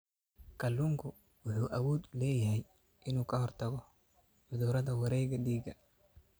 Kalluunku wuxuu awood u leeyahay inuu ka hortago cudurrada wareegga dhiigga.